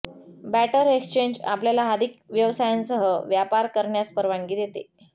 batter exchange आपल्याला अधिक व्यवसायांसह व्यापार करण्यास परवानगी देते